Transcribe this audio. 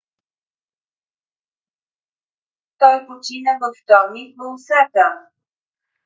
той почина във вторник в осака